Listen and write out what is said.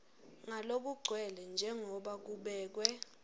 ngalokugcwele njengoba kubekwe